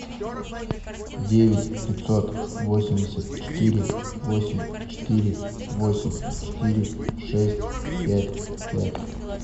девять пятьсот восемьдесят четыре восемь четыре восемь четыре шесть пять пять